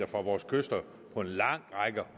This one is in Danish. fra vores kyster på en lang række